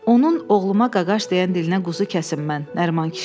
Onun oğluma qaqaş deyən dilinə quzu kəsim mən, Nəriman kişi dedi.